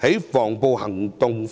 執行的防暴行動。